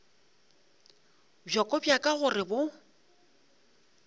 bjoko bja ka gore bo